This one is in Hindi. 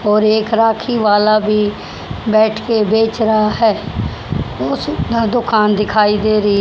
और एक राखी वाला भी बैठ के बेच रहा है उस का दुकान दिखाई दे रही--